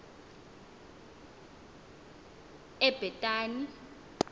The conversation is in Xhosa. ebhetani